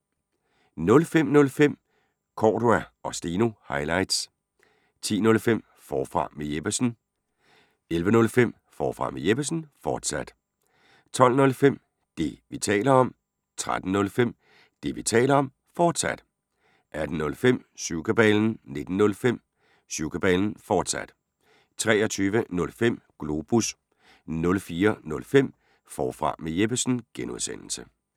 05:05: Cordua & Steno – highlights 10:05: Forfra med Jeppesen 11:05: Forfra med Jeppesen, fortsat 12:05: Det, vi taler om 13:05: Det, vi taler om, fortsat 18:05: Syvkabalen 19:05: Syvkabalen, fortsat 23:05: Globus 04:05: Forfra med Jeppesen (G)